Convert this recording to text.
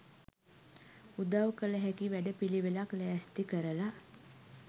උදව් කල හැකි වැඩ පිලිවෙලක් ලෑස්ති කරලා